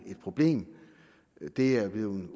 problem det er jo blevet